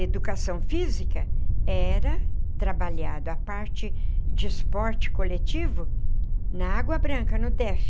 Educação física era trabalhado a parte de esporte coletivo, na Água Branca, no DEF.